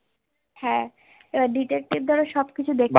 হ্যান এবার Detective ধরো সব কিছু দেখলো